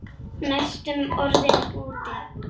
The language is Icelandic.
Næstum orðinn úti